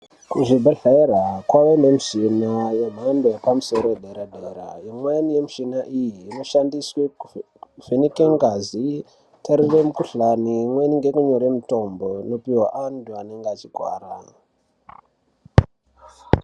Kuzvibhedhlera kwane mishini yemhando yepamusoro dera dera imweni yemushina iyi shandiswe kuvheneka ngazi tarire mukhuhlani imweni ngeyekunyore mitombo yopuwe antu anenga achirwara.